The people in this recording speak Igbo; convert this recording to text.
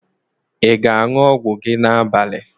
Ị ga-aṅụ ọgwụ gị n'abalị?